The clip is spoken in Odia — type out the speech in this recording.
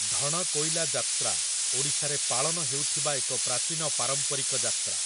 ଢଣକୋଇଲା ଯାତ୍ରା ଓଡ଼ିଶାରେ ପାଳନ ହେଉଥିବା ଏକ ପ୍ରାଚୀନ ପାରମ୍ପରିକ ଯାତ୍ରା ।